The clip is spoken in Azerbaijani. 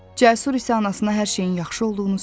Cəsur isə anasına hər şeyin yaxşı olduğunu söyləyir.